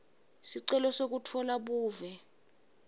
sicelo sekutfola buve